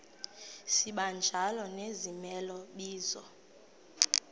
sibanjalo nezimela bizo